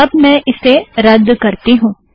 तो अब मैं इसे रद्ध करती हूँ